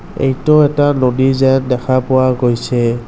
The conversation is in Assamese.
এইটো এটা নদী যেন দেখা পোৱা গৈছে।